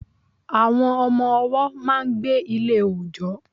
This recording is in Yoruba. Àwọn Ọmọ ọwọ́ máa n gbé Ilé òjọ́